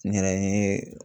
N yɛrɛ n ye